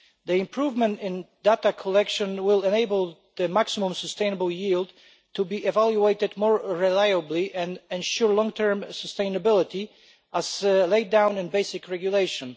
The improvement in data collection will enable the maximum sustainable yield to be evaluated more reliably and ensure long term sustainability, as laid down in the basic regulation.